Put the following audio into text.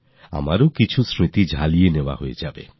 আমিও কিছু স্মৃতি সতেজ করার সুযোগ পেয়ে যাব